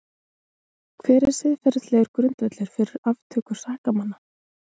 Hver er siðferðilegur grundvöllur fyrir aftöku sakamanna?